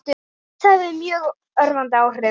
Það hefur mjög örvandi áhrif.